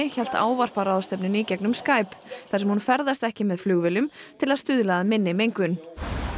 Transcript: hélt ávarp á ráðstefnunni í gegnum Skype þar sem hún ferðast ekki með flugvélum til stuðla að minni mengun